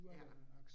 Ja